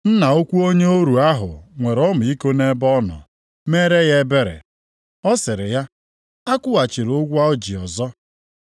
Nna ukwu onye ọrụ ahụ nwere ọmịiko nʼebe ọ nọ, meere ya ebere. Ọ sịrị ya akwụghachila ụgwọ o ji ọzọ.